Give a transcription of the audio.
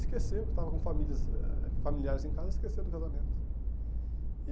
Esqueceu, porque estava com famílias, eh familiares em casa, esqueceu do casamento.